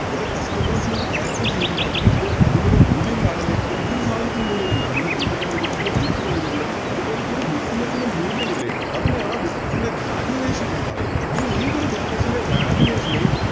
കൊറേ Customers നെ അത് Cater ചെയ്യുന്നുണ്ട് അപ്പോൾ അതിനൊരു മൂല്യം കാണൂലെ എന്തൊരു സാധനത്തിനും മൂല്യം കാണൂലെ നമ്മുടെ വീടിന് മൂല്യമുണ്ട് വണ്ടിക്ക് മൂല്യമുണ്ട് അത്പോലെ ഈയൊരു Business ന് മൂല്യമില്ലെ അതിനെയാണ് Business ൻറെ Valuation എന്ന് പറയുന്നത്